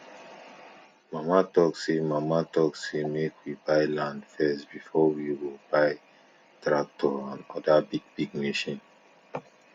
mama talk say mama talk say make we buy land first before we go dey buy tractor and other bigbig machines